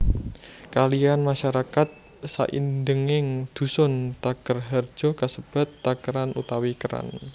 Kaliyan masyarakat saindenging dusun Takerharjo kasebat Takeran utawi Keran